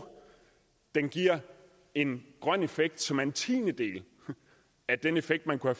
den giver en grøn effekt som er en tiendedel af den effekt man kunne